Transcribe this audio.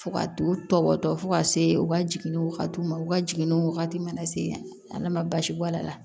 Fo ka t'u tɔbɔtɔ fo ka se u ka jiginni wagatiw ma u ka jiginni wagati mana se ala ma baasi bɔ a la